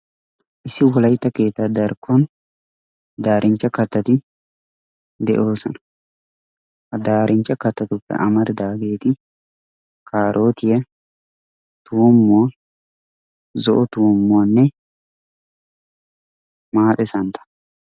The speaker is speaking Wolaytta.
Issi Wolaytta keettaa darkkon daarinchcha kattati de'oosona. Ha daarinchcha kattatuppe amaridaageeti: kaarootiya, tuummuwa, zo'o tuummuwanne maaxe santtaa.